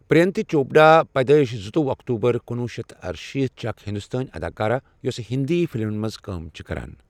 پرینیتی چوپڑا، پیدٲیِش زٕتووہہ اکتوبر کنوہہ شیتھ ارشیٖت چھےٚ اکھ ہندوستٲنۍ اداکارا یوٚسہٕ ہِنٛدی فلمَن منٛز کٲم چھِےٚ کران ۔